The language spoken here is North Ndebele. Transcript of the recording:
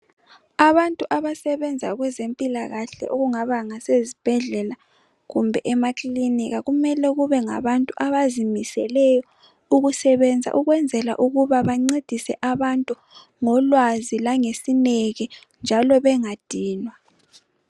Abantu abasebenza kwezempilakahle okungabangasezibhedlela kumbe emakilinika kumele kubengabantu abazimiseleyo ukusebenza ukwenzela ukuba bancedise abantu ngolwazi langesineke njalo bengadinwa